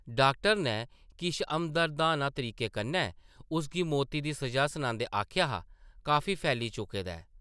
Doctor नै किश हमदर्दाना तरीके कन्नै उसगी मौती दी सʼजा सनांदे आखेआ हा, काफी फैली चुके दा ऐ ।